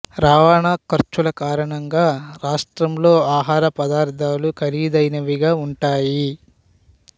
రవాణా ఖర్చుల కారణంగా రాష్ట్రంలో ఆహార పదార్ధాలు ఖరీదైనవిగా ఉంటాయి